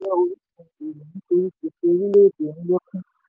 owó wọlé nàìjíríà jẹ́ orísun èrò nítorí gbèsè orílẹ̀-èdè ń lékún.